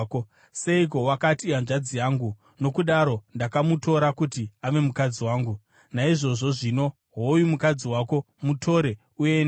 Seiko wakati, ‘Ihanzvadzi yangu,’ nokudaro ndakamutora kuti ave mukadzi wangu? Naizvozvo zvino, hoyu mukadzi wako. Mutore uende!”